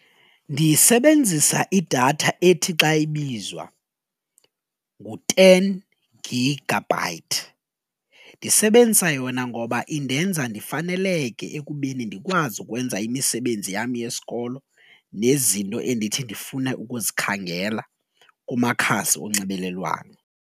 Ndisebenzisa idatha ethi xa ibizwa ngu-ten gigabyte ndisebenzisa yona ngoba indenza ndifaneleke ekubeni ndikwazi ukwenza imisebenzi yam yesikolo nezinto endithi ndifune ukuzikhangela kumakhasi onxibelelwano.